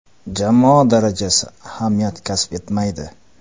Jamoa darajasi ahamiyat kasb etmaydi.